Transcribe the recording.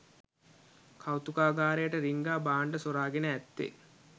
කෞතුකාගාරයට රිංගා භාණ්ඩ සොරාගෙන ඇත්තේ